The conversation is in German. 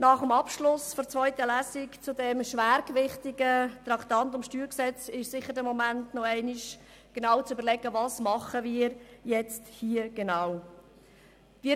Nach dem Abschluss der zweiten Lesung zum schwergewichtigen StG-Traktandum ist nun der richtige Moment gekommen, um zu überlegen, was wir hier genau tun.